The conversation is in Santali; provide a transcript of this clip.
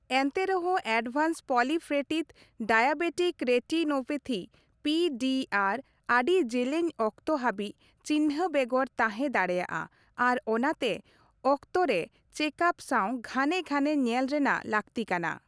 ᱮᱱᱛᱮ ᱨᱮᱦᱚᱸ advanced proliferative diabetic retinopathy (P D R) ᱟᱹᱰᱤ ᱡᱮᱹᱞᱮᱹᱧ ᱚᱠᱛᱚ ᱦᱟᱹᱵᱤᱡ ᱪᱤᱱᱦᱟᱹ ᱵᱮᱜᱚᱨ ᱛᱟᱦᱮ ᱫᱟᱲᱮᱭᱟᱜᱼᱟ ᱟᱨ ᱚᱱᱟᱛᱮ ᱚᱠᱛᱚᱨᱮ ᱪᱮᱠᱟᱯ ᱥᱟᱣ ᱜᱷᱟᱱᱮ ᱜᱷᱟᱱᱮ ᱧᱮᱞ ᱨᱮᱱᱟᱜ ᱞᱟᱹᱠᱛᱤ ᱠᱟᱱᱟ ᱾